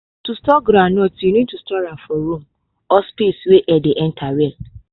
to store groundnut you need store am for room or space wey air dey enter well.